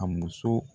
A muso